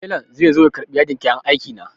Telan zai zo ya karɓi yadin kayan aiki na.